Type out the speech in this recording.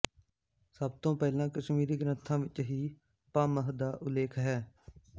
ਸਭ ਤੋਂ ਪਹਿਲਾਂ ਕਸ਼ਮੀਰੀ ਗ੍ਰੰਥਾਂ ਵਿੱਚ ਹੀ ਭਾਮਹ ਦਾ ਉਲੇਖ ਹੈ